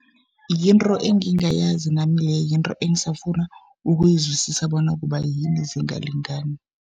Yinto engingayazi nami leyo. Yinto engisafuna ukuyizwisisa bona kubayini zingalingani.